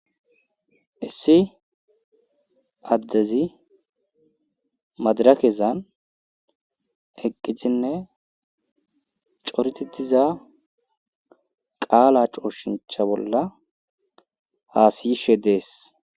Issi addezi madarakezan eqqisinne coretetiza qaala cooshincha bolla haasiyishe dees.